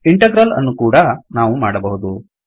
integral ಅನ್ನೂ ಕೂಡಾ ನಾವು ಮಾಡಬಹುದು